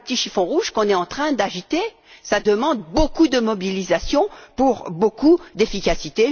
Ce n'est pas le petit chiffon rouge que nous sommes en train d'agiter. Cela demande beaucoup de mobilisation pour beaucoup d'efficacité.